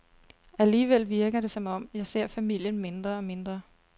Alligevel virker det som om, jeg ser familien mindre og mindre.